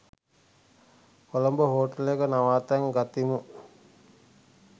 කොළඹ හෝටලයක නවාතැන් ගතිමු.